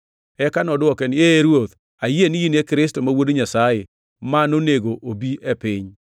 Eka nodwoke niya, “Ee, Ruoth, ayie ni in e Kristo ma Wuod Nyasaye, ma nonego obi e piny.”